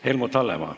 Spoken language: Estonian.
Helmut Hallemaa.